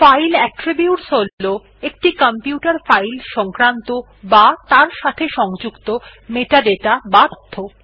file attribute হল একটি computer file সংক্রান্ত বা তার সাথে সংযুক্ত মেটাডাটা বা তথ্য